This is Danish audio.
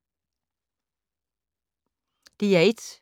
DR1